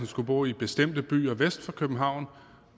skulle bo i bestemte byer vest for københavn